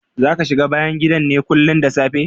Zaka shiga bayn gidan ne kullin da safe?